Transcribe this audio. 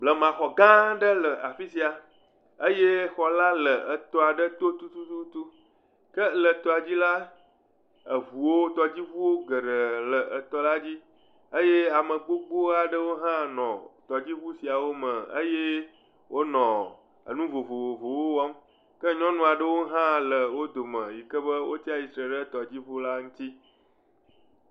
Blemaxɔ gã aɖe le afi sia eye xɔ la le tɔ aɖe to tututu ke le tɔa dzi la, eŋuwo, tɔdziŋuwo geɖe le tɔ la dzi eye ame gbogbo aɖewo hã nɔ tɔdziŋu sia me eye wonɔ nu vovovowo wɔm ke nyɔnu aɖewo hã le wo dome yi ke be wotsi atsitre ɖe tɔdziŋu la ŋuti.